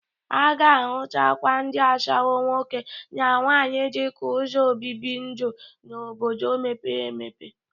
A ga-ahụtakwa ndị ashawọ nwoke na nwaanyị dịka ụzọ obibi ndu n'obodo mepere emepe.